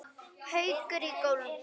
Haukur í golf.